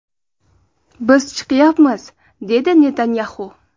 Biz chiqyapmiz”, dedi Netanyaxu.